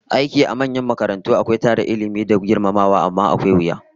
Aiki a manyan makarantu akwai tara Ilmi da girmamawa, amma akwai wuya